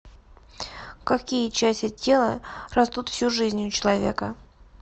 какие части тела растут всю жизнь у человека